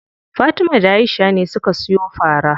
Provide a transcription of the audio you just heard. Fatima da Aisha ne suka siyo fara.